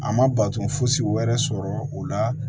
A ma bato fosi wɛrɛ sɔrɔ o la